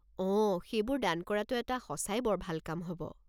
অঁ, সেইবোৰ দান কৰাটো এটা সঁচাই বৰ ভাল কাম হ'ব।